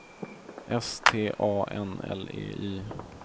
S T A N L E Y